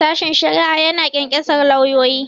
Sashen shari'a ya na ƙyanƙyasar lauyoyi.